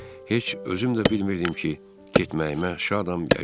Heç özüm də bilmirdim ki, getməyimə şadam, ya yox.